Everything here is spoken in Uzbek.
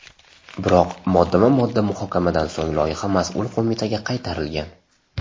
Biroq moddama-modda muhokamadan so‘ng loyiha mas’ul qo‘mitaga qaytarilgan.